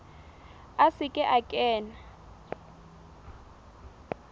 a se ke a kena